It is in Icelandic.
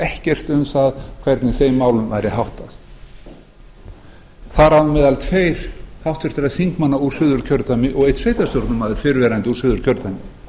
ekkert um það hvernig þeim málum væri háttað þar á meðal tveir háttvirtra þingmanna úr suðurkjördæmi og einn sveitarstjórnarmaður fyrrverandi úr suðurkjördæmi